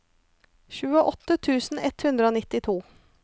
tjueåtte tusen ett hundre og nittito